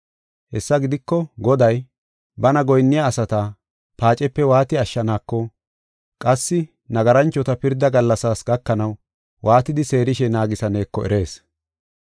Hessa gidiko, Goday, bana goyinniya asata paacepe waati ashshaneko, qassi nagaranchota pirda gallasaas gakanaw waatidi seerishe naagisaneeko erees.